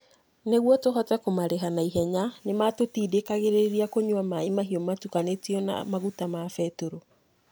Nĩguo tũhote kũmarĩha na ihenya, nĩ maatũtindĩkagĩrĩria kũnyua maaĩ mahio matukanĩtio na maguta ma betũrũ.